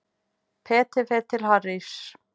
Peter fer til Harrys.